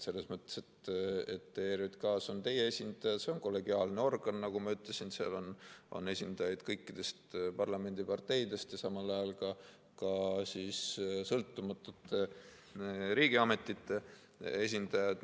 ERJK‑s on ka teie esindaja, see on kollegiaalne organ, nagu ma ütlesin, seal on esindajaid kõikidest parlamendiparteidest ja samal ajal ka sõltumatute riigiametite esindajad.